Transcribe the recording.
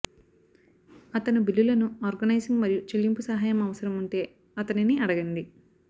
అతను బిల్లులను ఆర్గనైజింగ్ మరియు చెల్లింపు సహాయం అవసరం ఉంటే అతనిని అడగండి